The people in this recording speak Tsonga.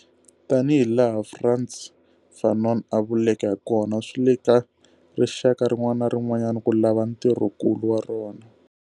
Tanihilaha Frantz Fanon a vuleke hakona, swi le ka rixaka rin'wana na rin'wana ku lava ntirhokulu wa rona.